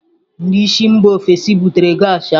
Ndị si mba ofesi butere gas ahụ.